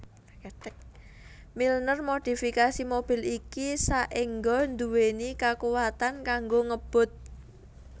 Milner modifikasi mobil iki saéngga nduweni kakuwatan kanggo ngebut